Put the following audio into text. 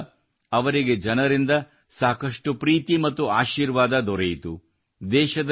ಇಲ್ಲಿ ಕೂಡಾ ಅವರಿಗೆ ಜನರಿಂದ ಸಾಕಷ್ಟು ಪ್ರೀತಿ ಮತ್ತು ಆಶೀರ್ವಾದ ದೊರೆಯಿತು